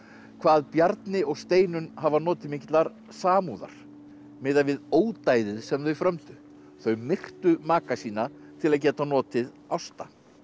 hvað Bjarni og Steinunn hafa notið mikillar samúðar miðað við ódæðið sem þau frömdu þau myrtu maka sína til að geta notið Ásta